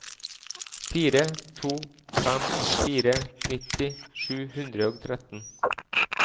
fire to fem fire nitti sju hundre og tretten